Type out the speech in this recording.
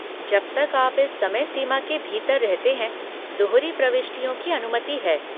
जब तक आप इस समय सीमा के भीतर रहते हैं, दोहरी प्रविष्टियों की अनुमति है।